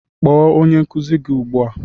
Kpọọ onye nkuzi gị ugbu a!